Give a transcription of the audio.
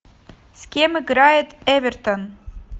с кем играет эвертон